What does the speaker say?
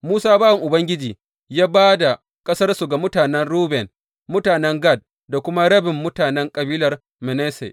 Musa bawan Ubangiji kuwa ya ba da ƙasarsu ga mutanen Ruben, mutanen Gad da kuma rabin mutanen kabilar Manasse.